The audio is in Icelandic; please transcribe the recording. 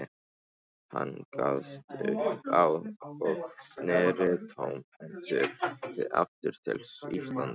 Hann gafst upp og sneri tómhentur aftur til Íslands.